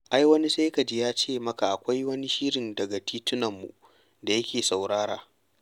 Ai wani sai ka ji ya ce maka akwai wani shirin daga titunanmu da yake saurara.